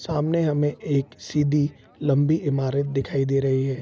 सामने हमें एक सीधी लंबी इमारत दिखाई दे रही है।